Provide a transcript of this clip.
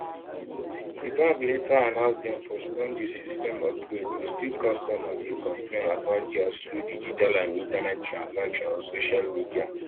di bank later announce dem postpone di system upgrade but still customers dey complain about dia slow digital and internet transactions on social media